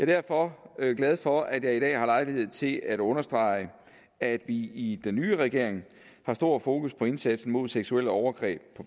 derfor glad for at jeg i dag har lejlighed til at understrege at vi i den nye regering har stor fokus på indsatsen mod seksuelle overgreb